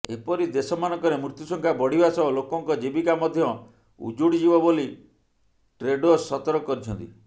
ଏପରି ଦେଶମାନଙ୍କରେ ମୃତ୍ୟୁ ସଂଖ୍ୟା ବଢିବା ସହ ଲୋକଙ୍କ ଜୀବିକା ମଧ୍ୟ ଉଜୁଡିଯିବ ବୋଲି ଟ୍ରେଡୋସ ସତର୍କ କରିଛନ୍ତି